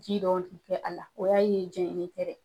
Ji dɔw bɛ kɛ a la, o y'a ye jɛnini tɛ dɛ.